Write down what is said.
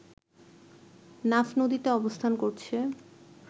নাফ নদীতে অবস্থান করছে